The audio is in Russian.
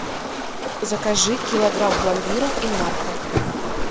закажи килограмм пломбира инмарко